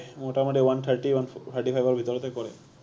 মুটা মুটি one thirty, one thirty five ৰ ভিতৰতে কৰে